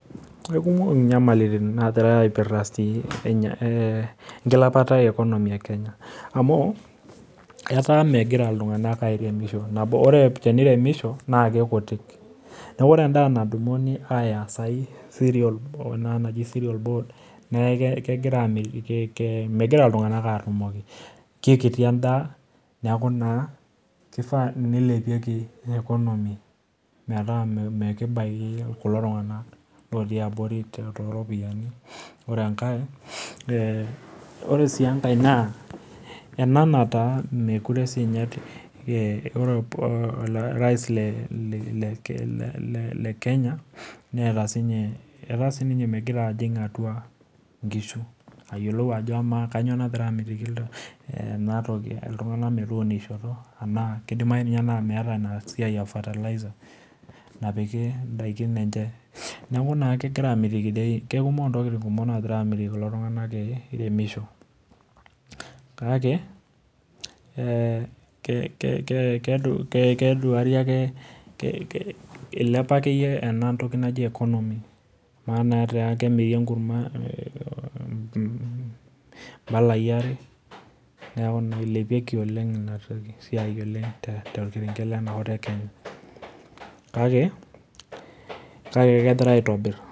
kikumok inyamalaritin nagira aipirta enkilepata ekenya amuu etaa megira iltunganak airemisho amu neeku ore enaa nadumunu asioki naa sirial bold kikti edaa neeku naa, kifaa neilepieki ekonomi metaa mikibaki kulo tunganak otii abori too iropiyiani, ore sii enae naa ore orais lekenya naa etaa megira siininye ajing atua inkushu aiguraa tenaa kanyioo nagira amitiki iltunganak eunisho ,kidimayu ninye naa esiai e fertilizers ,napiki idaikin enche neeku kikumok intokitin nagira amitiki kulo tunganak iremisho kake keduari ake ilepa akeyie ama naa aa kemiri enkurma iidolaai are kake kegira aitobir.